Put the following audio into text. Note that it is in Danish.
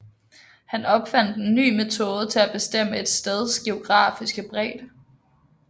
Han opfandt en ny metode til at bestemme et steds geografiske bredde